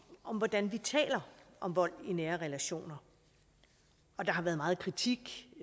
om hvordan vi taler om vold i nære relationer og der har været meget kritik